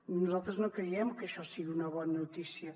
nosaltres no creiem que això sigui una bona notícia